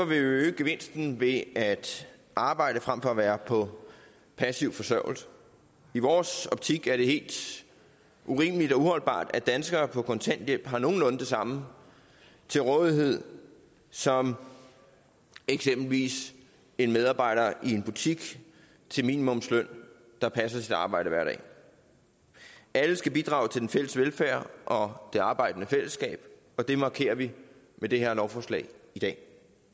vi øge gevinsten ved at arbejde frem for at være på passiv forsørgelse i vores optik er det helt urimeligt og uholdbart at danskere på kontanthjælp har nogenlunde det samme til rådighed som eksempelvis en medarbejder i en butik til minimumsløn der passer sit arbejde hver dag alle skal bidrage til det fælles velfærd og det arbejdende fællesskab og det markerer vi med det her lovforslag i dag